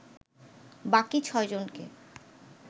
বাকি ছয়জনকে